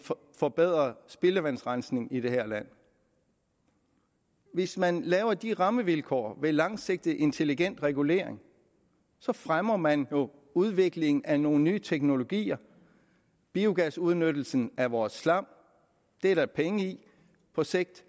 forbedret spildevandsrensning i det her land hvis man laver de rammevilkår ved langsigtet intelligent regulering fremmer man jo udviklingen af nogle nye teknologier biogasudnyttelsen af vores slam er der penge i på sigt